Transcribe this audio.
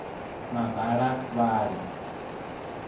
mabalavhali